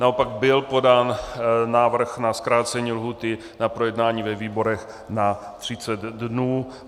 Naopak byl podán návrh na zkrácení lhůty na projednání ve výborech na 30 dnů.